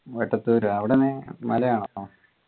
വെട്ടത്തൂര് അവിടെയാണ് മലയാണോ